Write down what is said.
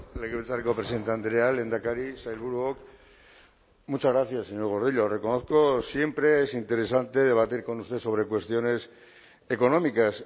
legebiltzarreko presidente andrea lehendakari sailburuok muchas gracias señor gordillo reconozco siempre es interesante debatir con usted sobre cuestiones económicas